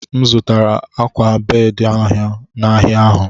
M zụtara akwa bedị ahụ n'ahịa ahụ.